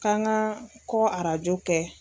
Kan ka kɔ arajo kɛ.